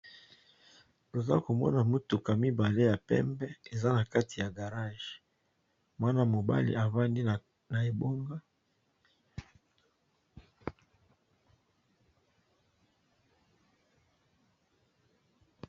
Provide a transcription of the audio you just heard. Loza komona motuka mibale ya pembe eza na kati ya garage mwana mobali avandi na ebonga.